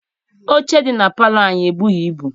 Oche dị na palọ anyị ebughị ibu.